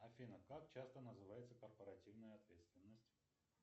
афина как часто называется корпоративная ответственность